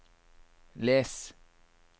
les